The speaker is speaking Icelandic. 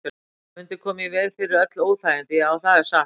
Það mundi koma í veg fyrir öll óþægindi, já, það er satt.